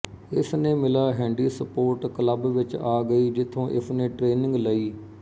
ਇਸ ਨੇ ਮਿਲਾ ਹੈਂਡੀਸਪੋਰਟ ਕਲੱਬ ਵਿੱਚ ਆ ਗਈ ਜਿਥੋਂ ਇਸਨੇ ਟ੍ਰੇਨਿੰਗ ਲਈ